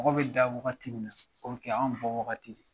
Mɔgɔ bɛ da wagati min na o kɛ anw bɔwagati ye